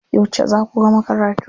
Yauce za ku gama karatu?